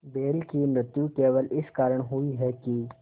बैल की मृत्यु केवल इस कारण हुई कि